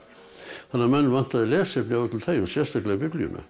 þannig að menn vantaði lesefni af öllu tagi sérstaklega Biblíuna